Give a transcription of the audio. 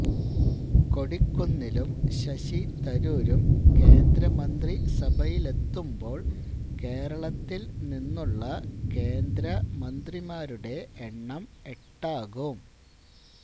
കൊടിക്കുന്നിലും ശശി തരൂരും കേന്ദ്രമന്ത്രിസഭയിലെത്തുമ്പോള് കേരളത്തില് നിന്നുള്ള കേന്ദ്രമന്ത്രമാരുടെ എണ്ണം എട്ടാകും